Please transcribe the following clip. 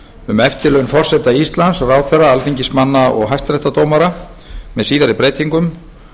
um eftirlaun forseta íslands ráðherra alþingismanna og hæstaréttardómara með síðari breytingum